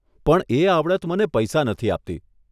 પણ એ આવડત મને પૈસા નથી આપતી.